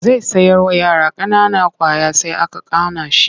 Zai sayarwa yara ƙanana ƙwaya sai aka kana shi.